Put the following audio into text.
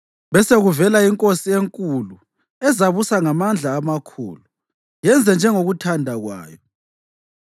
Besekuvela inkosi enkulu ezabusa ngamandla amakhulu, yenze njengokuthanda kwayo.